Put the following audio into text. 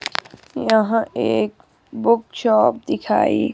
यहां एक book shop दिखाई --